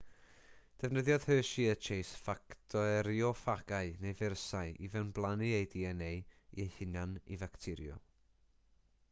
defnyddiodd hershey a chase facterioffagau neu feirysau i fewnblannu eu dna eu hunain i facteriwm